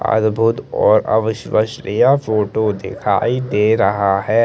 आज बहोत और अब शुबाह श्रिया फोटो दिखाई दे रहा हैं।